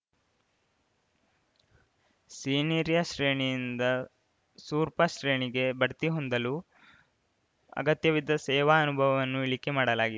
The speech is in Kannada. ಸೀನಿರ್ಯ ಶ್ರೇಣಿಯಿಂದ ಸೂರ್ಪ ಶ್ರೇಣಿಗೆ ಬಡ್ತಿ ಹೊಂದಲು ಅಗತ್ಯವಿದ್ದ ಸೇವಾ ಅನುಭವವನ್ನು ಇಳಿಕೆ ಮಾಡಲಾಗಿ